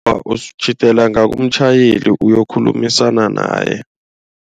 utjhidela ngakumtjhayeli uyokukhulumisana naye.